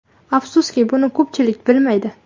Afsuski, buni ko‘pchilik bilmaydi.